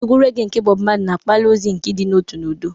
Ekwe regee nke Bob Marley na-akpali ozi nke ịdị n'otu na udo.